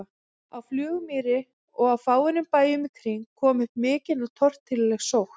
Á Flugumýri og á fáeinum bæjum í kring kom upp mikil og torkennileg sótt.